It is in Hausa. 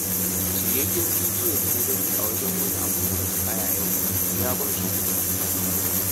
Shiryayyen bidiyon da na gani a wajen wani a motar haya yau, ya ban tsoro